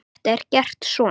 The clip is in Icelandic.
Þetta er gert svona